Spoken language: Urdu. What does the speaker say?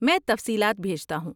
میں تفصیلات بھیجتا ہوں۔